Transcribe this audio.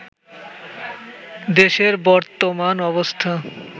দেশের বর্তমান অবস্থা